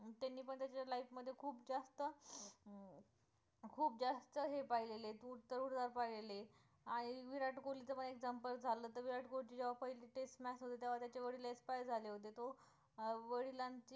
खूप जास्त हे पाहिलेले पाहिलेले आणि विराट कोहली च example झालं तर विराट कोहलीची जेव्हा पहिली test match होती तेव्हा त्याचे वडील expired झाले होते तो वडिलांची